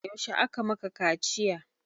Yaushe aka maka kaciya?